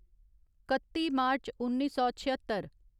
कत्ती मार्च उन्नी सौ छेअत्तर